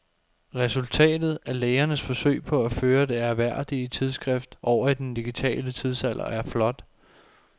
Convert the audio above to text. Resultatet af lægernes forsøg på at føre det ærværdige tidsskrift over i den digitale tidsalder er flot.